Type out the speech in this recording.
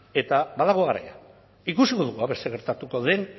eta badago garaian ikusiko dugu aber zer gertatuko den